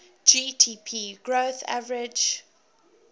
gdp growth averaged